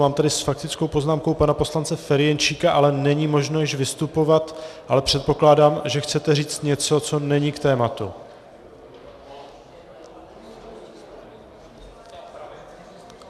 Mám tady s faktickou poznámkou pana poslance Ferjenčíka, ale není možno již vystupovat, ale předpokládám, že chcete říct něco, co není k tématu.